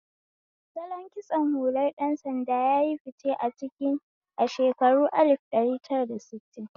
Salon kitsho hular ɗan sanda yayi fice a cikin a shekarun alif ɗari tara da sittin